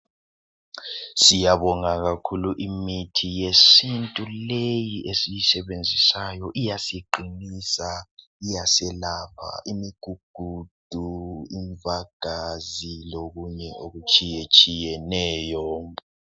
Siyabonga kakhulu imithi yesintu leyi esiyisebenzisayo iyasiqinisa iyaselapha imigugudu imvagazi lokunye okutshiye tshiyeneyo.